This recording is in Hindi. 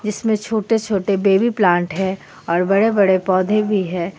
जीसमें छोटे छोटे बेबी प्लांट है और बड़े बड़े पौधे भी है.